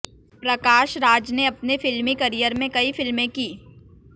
प्रकाश राज ने अपने फिल्मीं करियर में कई फ़िल्में की